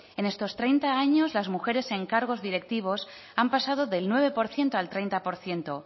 en estos treinta años las mujeres en cargos directivos han pasado del nueve por ciento al treinta por ciento